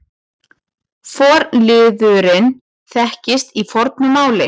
Forliðurinn þekkist í fornu máli.